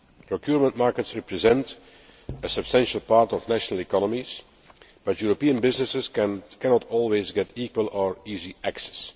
Procurement markets represent a substantial part of national economies, but European businesses cannot always get equal or easy access.